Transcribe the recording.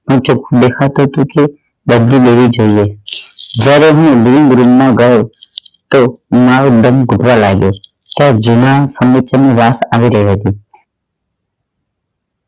ચોખ્ખું દેખાતું હતું કે બદલી લેવી જોઈએ જ્યારે હું રૂમ માં ગયો તો મારો દમ ખૂટવા લાગ્યો વાસ આવી રહી હતી